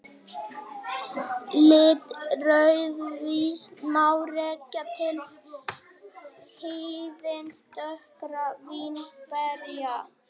Lit rauðvíns má rekja til hýðis dökkra vínberja.